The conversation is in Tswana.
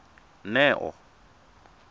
neo